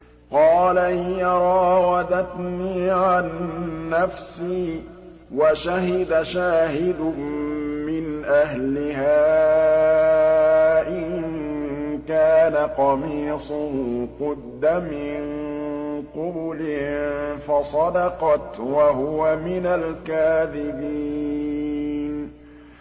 قَالَ هِيَ رَاوَدَتْنِي عَن نَّفْسِي ۚ وَشَهِدَ شَاهِدٌ مِّنْ أَهْلِهَا إِن كَانَ قَمِيصُهُ قُدَّ مِن قُبُلٍ فَصَدَقَتْ وَهُوَ مِنَ الْكَاذِبِينَ